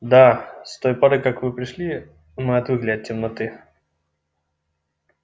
да с той поры как вы пришли мы отвыкли от темноты